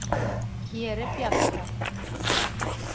Hér er bjalla.